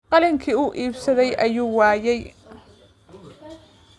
Qalinkii uu iibsaday ayuu waayay